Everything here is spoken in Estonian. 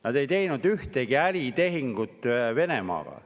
Nad ei teinud ühtegi äritehingut Venemaaga.